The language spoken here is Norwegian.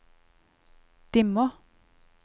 dimmer